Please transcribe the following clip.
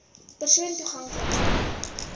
persoon toegank lik